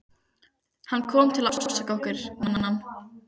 Hann kom til að ásaka okkur, vænan.